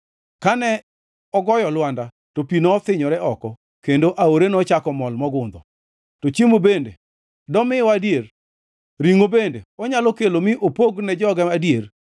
Kane ogoyo lwanda to pi nothinyore oko kendo aore nochako mol mogundho. To chiemo bende domiwa adier? Ringʼo bende onyalo kelo mi opog ne joge adier?”